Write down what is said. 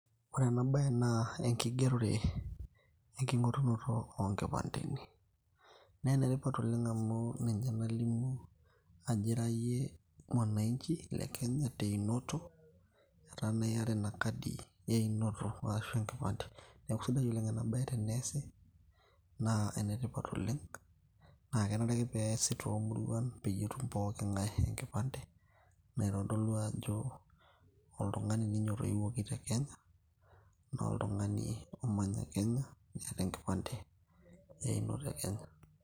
ore ena baye naa enkigerore enking'orunoto oonkipandeni naa enetipat oleng amu ninye nalimu ajo ira yie mwananchi le kenya teinoto etaa naa iyata ina kadi einoto waashu enkipande neeku sidai oleng ena baye teneesi naa enetipat oleng, naa kenare ake peesi toomuruan peyie etum pooking'ae enkipande naitodolu ajo oltung'ani ninye otoiwuoki kenya naa oltung'ani omanya kenya neeta enkipande einoto e kenya.